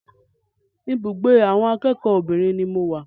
Ibùgbé awọn akẹ́kọ̀ọ́ obìnrin ni mo wà.